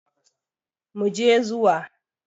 Mu je zuwa!